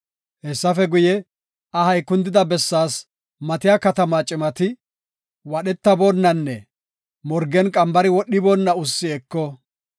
Hessafe guye, ahay kundida bessaas matiya katamaa cimati, wadhetaboonnanne morgen qambari wodhiboonna ussi eko.